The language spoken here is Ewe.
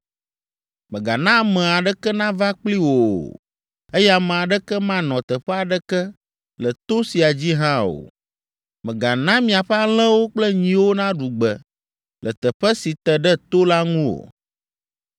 Mègana ame aɖeke nava kpli wò o, eye ame aɖeke manɔ teƒe aɖeke le to sia dzi hã o. Mègana miaƒe alẽwo kple nyiwo naɖu gbe le teƒe si te ɖe to la ŋu o.”